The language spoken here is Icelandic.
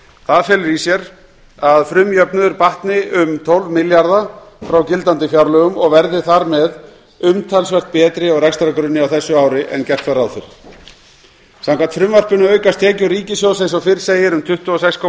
það felur í sér að frumjöfnuður batni um tólf milljarða frá gildandi fjárlögum og verði þar með umtalsvert betri á rekstrargrunni á þessu ári en gert var ráð fyrir samkvæmt frumvarpinu aukast tekjur ríkissjóðs eins og fyrr segir um tuttugu og sex komma